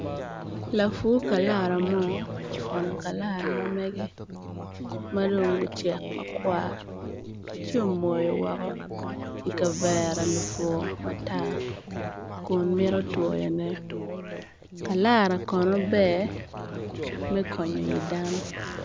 Lapfu kalara mo ofuno kalara ma megge madong gucek makwar ci omoyo woko i kavere lufuku matar kun mito twoyone kalara kono ber me konyo yi dano